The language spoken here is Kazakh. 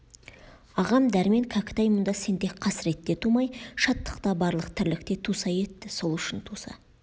ағам дәрмен кәкітай мұнда сен тек қасіретте тумай шаттықта барлық тірлікте туса етті сол үшін туса